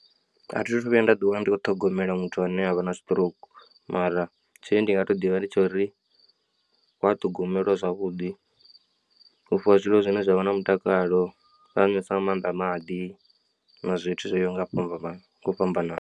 A thithu vhuya nda ḓi wana ndi kho ṱhogomela muthu ane avha na siṱirouku mara tshine ndi nga to ḓivha ndi tsha uri wa ṱhogomelwa zwavhuḓi, u fhiwa zwiḽiwa zwine zwavha na mutakalo, u tea u needs nga maanḓa maḓi na zwithu zwoyaho nga u fhambana fhambana.